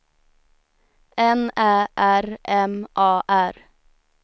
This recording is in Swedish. N Ä R M A R